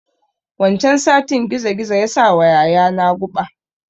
Wancan satin gizo gizo ya sawa yaya na guɓa